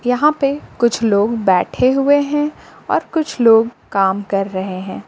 यहां पे कुछ लोग बैठे हुए हैं और कुछ लोग काम कर रहे हैं।